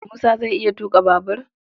Musa zai iya tuƙa babur?